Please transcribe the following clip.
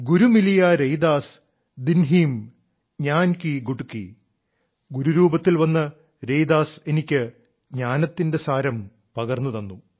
ഗുരു മിലിയാ രൈദാസ് ദിൻഹീം ജ്ഞാൻ കീ ഗുട്ടകി അതായത് ഗുരുരൂപത്തിൽ വന്ന് രൈദാസ് എനിക്ക് ജ്ഞാനത്തിന്റെ സാരം പകർന്നുതന്നു